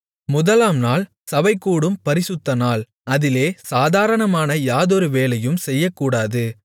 முதலாம் நாள் சபைகூடும் பரிசுத்தநாள் அதிலே சாதாரணமான யாதொரு வேலையும் செய்யக்கூடாது